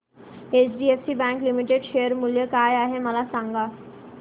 HDFC bank limited share मूल्य काय आहे मला सांगा